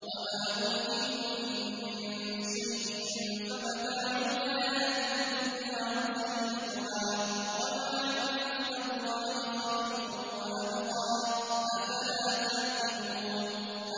وَمَا أُوتِيتُم مِّن شَيْءٍ فَمَتَاعُ الْحَيَاةِ الدُّنْيَا وَزِينَتُهَا ۚ وَمَا عِندَ اللَّهِ خَيْرٌ وَأَبْقَىٰ ۚ أَفَلَا تَعْقِلُونَ